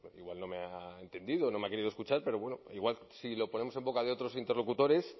igual no me ha entendido o no me ha querido escuchar pero bueno igual si lo ponemos en boca de otros interlocutores